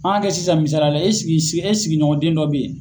An kɛ sisan misaliyala e si si e sigiɲɔgɔn den dɔ bɛ yen.